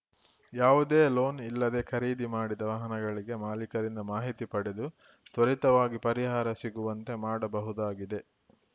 ಯಾವುದೇ ಲೋನ್‌ ಇಲ್ಲದೇ ಖರೀದಿ ಮಾಡಿದ ವಾಹನಗಳಿಗೆ ಮಾಲಿಕರಿಂದ ಮಾಹಿತಿ ಪಡೆದು ತ್ವರಿತವಾಗಿ ಪರಿಹಾರ ಸಿಗುವಂತೆ ಮಾಡಬಹುದಾಗಿದೆ